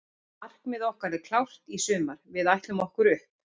Markmið okkar er klárt í sumar, við ætlum okkur upp.